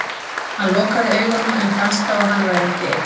Hann lokaði augunum en fannst þá að hann væri ekki einn.